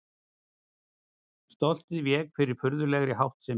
Stoltið vék fyrir furðulegri háttsemi.